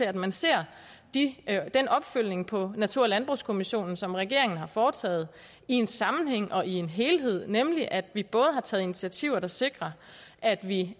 at man ser den opfølgning på natur og landbrugskommissionen som regeringen har foretaget i en sammenhæng og i en helhed nemlig at vi både har taget initiativer der sikrer at vi